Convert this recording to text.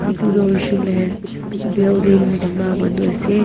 Etu tuh hoishe koile building bana manu ase.